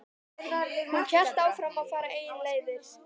Hún hélt áfram að fara eigin leiðir.